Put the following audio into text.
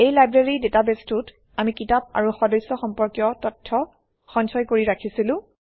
এই লাইব্ৰেৰী ডাটাবেছটোত আমি কিতাপ আৰু সদস্য সম্পৰ্কীয় তথ্য সঞ্চয় কৰি ৰাখিছিলো